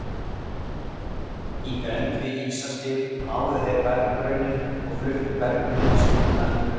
Í grennd við ísaskil máðu þeir berggrunninn og fluttu bergmylsnuna í burtu.